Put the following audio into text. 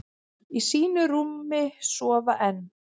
Í sínu rúmi sofa enn,